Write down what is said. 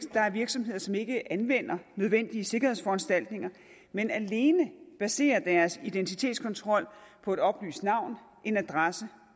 er virksomheder som ikke anvender nødvendige sikkerhedsforanstaltninger men alene baserer deres identitetskontrol på et oplyst navn en adresse